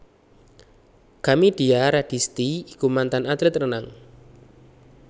Kamidia Radisti iku mantan atlet renang